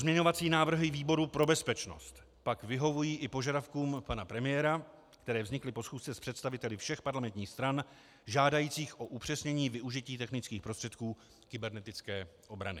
Pozměňovací návrhy výboru pro bezpečnost pak vyhovují i požadavkům pana premiéra, které vznikly po schůzce s představiteli všech parlamentních stran, žádajících o upřesnění využití technických prostředků kybernetické obrany.